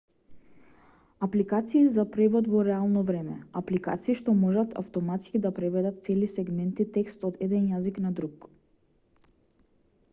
апликации за превод во реално време апликации што можат автоматски да преведат цели сегменти текст од еден јазик на друг